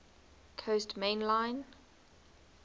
coast main line